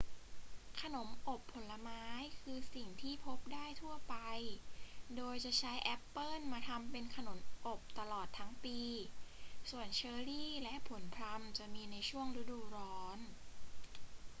ขนมอบผลไม้คือสิ่งที่พบได้ทั่วไป โดยจะใช้แอปเปิลมาทำเป็นขนมอบตลอดทั้งปี ส่วนเชอร์รี และผลพลัมจะมีในช่วงฤดูร้อน